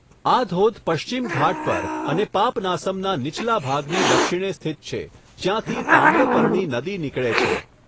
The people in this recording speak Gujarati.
આ ધોધ પશ્ચિમ ઘાટ પર અને પાપનાસમના નીચલા ભાગની દક્ષિણે સ્થિત છે, જ્યાંથી તામ્રપર્ણી નદી નીકળે છે.